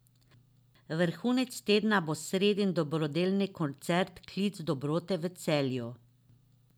Vrhunec tedna bo sredin dobrodelni koncert Klic dobrote v Celju.